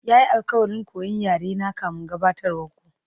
Ya yi alkawarin koyan yarena kafin gabatarwar ku.